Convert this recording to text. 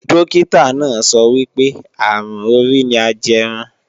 Dókítà náà sọ wípé, àrùn orí ni ajẹrun